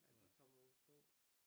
Hvad vi kommer på